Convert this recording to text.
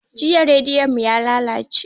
Jiya rediyo mu yalalace